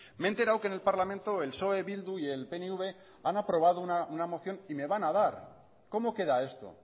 me he enterado que en el parlamento el psoe bildu y el pnv han aprobado una moción y me van a dar cómo queda esto